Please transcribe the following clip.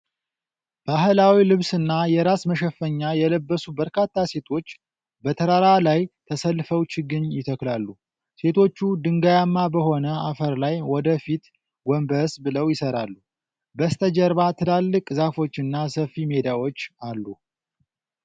ባህላዊ ልብስና የራስ መሸፈኛ የለበሱ በርካታ ሴቶች በተራራ ላይ ተሰልፈው ችግኝ ይተክላሉ። ሴቶቹ ድንጋያማ በሆነ አፈር ላይ ወደ ፊት ጎንበስ ብለው ይሰራሉ። በስተጀርባ ትልልቅ ዛፎችና ሰፊ ሜዳዎች አሉ።